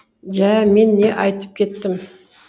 жә мен не айтып кеттім